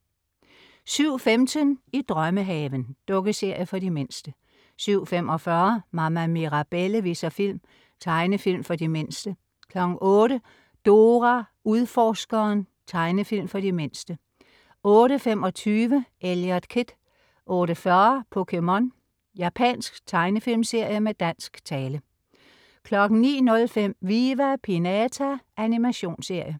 07.15 I drømmehaven. Dukkeserie for de mindste 07.45 Mama Mirabelle viser film. Tegnefilm for de mindste 08.00 Dora Udforskeren. Tegnefilm for de mindste 08.25 Eliot Kid 08.40 POKéMON. Japansk tegnefilmserie med dansk tale 09.05 Viva Pinata. Animationsserie